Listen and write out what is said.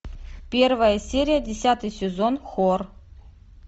первая серия десятый сезон хор